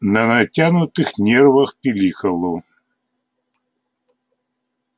на натянутых нервах пиликало